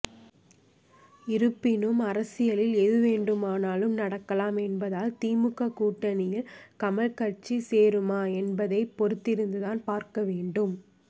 இருப்பினும் அரசியலில் எது வேண்டுமானாலும் நடக்கலாம் என்பதால் திமுக கூட்டணியில் கமல் கட்சி சேருமா என்பதை பொறுத்திருந்துதான் பார்க்க வேண்டும்